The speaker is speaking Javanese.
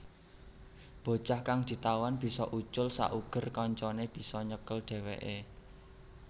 Bocah kang ditawan bisa ucul sauger kancané bisa nyekel dhèwèkè